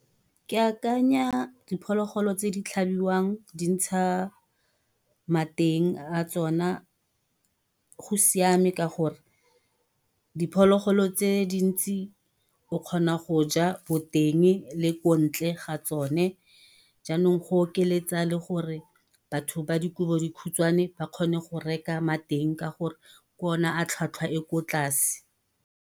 Ke akanya diphologolo tse di tlhabiwang, di ntsha mateng a tsona, go siame ka gore diphologolo tse dintsi o kgona go ja boteng le ko ntle ga tsone. Jaanong go okeletsa le gore batho ba dikobo di khutshwane, ba kgone go reka mateng ka gore ke ona a tlhwatlhwa e ko tlase.